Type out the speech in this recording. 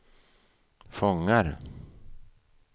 fångar